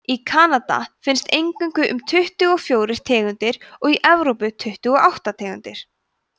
í kanada finnast eingöngu um tuttugu og fjórir tegundir og í evrópu tuttugu og átta tegundir